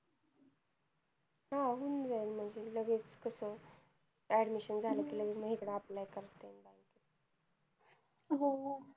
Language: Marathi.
हा होऊन जाईल. म्हणजे लगेच कसं admission झालं कि लगेच मग इकडे apply करता येतं. हम्म